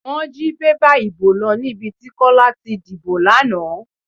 Wọ́n jí bébà ìbò lọ níbi tí Kọ́lá ti dìbò lánàá.